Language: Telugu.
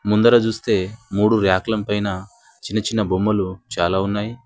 ముందర చూస్తే మూడు ర్యాక్లం పైన చిన్న చిన్న బొమ్మలు చాలా ఉన్నాయి.